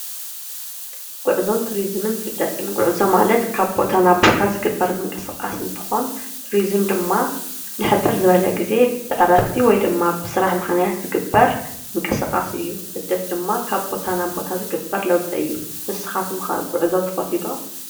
ጉዕዞን ቱሪዝምን ማለት ካብ ቦታ ናብ ቦታ ዝግበር ምንቅስቃስ እንትኾን፣ ቱሪዝም ድማ ንሕፅር ዝበለ ግዜ ብዕረፍቲ ወይ ድማ ብስራሕ ምክንያት ዝግበር ምንቅስቃስ እዩ። ስደት ድማ ካብ ቦታ ናብ ቦታ ዝግበር ለዉጢ እዩ። ንስኹም ከ ጉዕዞ ትፈትዩ ዶ ?